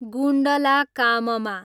गुण्डलाकाममा